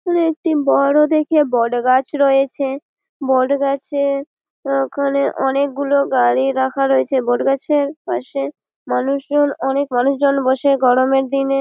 এখানে একটি বড়ো দেখে বট গাছ রয়েছে। বট গাছের ওখানে অনেক গুলো গাড়ি রাখা রয়েছে। বট গাছের পাশে মানুষজন অনেক মানুষজন বসে গরমের দিনে--